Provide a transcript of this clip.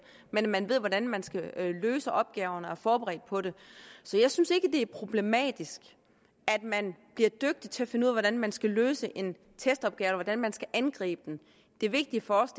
men at man ved hvordan man skal løse opgaven og er forberedt på det så jeg synes ikke at det er problematisk at man bliver dygtig til at finde ud af hvordan man skal løse en testopgave eller hvordan man skal angribe den det vigtige for os